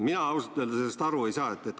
Mina ausalt öeldes sellest aru ei saa.